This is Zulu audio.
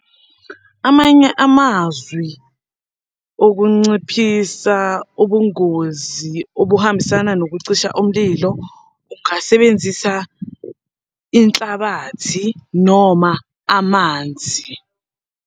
Amanye amazwi okunciphisa ubungozi obuhambisana nokucisha umlilo, ungasebenzisa inhlabathi noma amanzi.